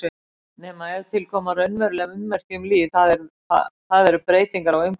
Nema ef til koma raunveruleg ummerki um líf, það er breytingar á umhverfi.